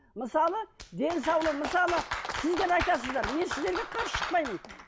мысалы мысалы сіздер айтасыздар мен сіздерге қарсы шықпаймын